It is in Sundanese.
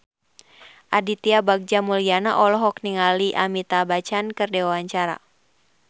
Aditya Bagja Mulyana olohok ningali Amitabh Bachchan keur diwawancara